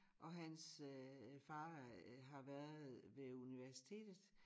Og hans øh far øh har været ved universitetet